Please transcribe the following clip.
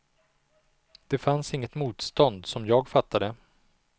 Det fanns inget motstånd, som jag fattade det.